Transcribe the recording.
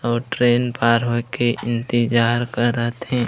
और ट्रेन पार होय के इंतिजार करते हे।